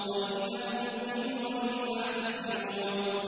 وَإِن لَّمْ تُؤْمِنُوا لِي فَاعْتَزِلُونِ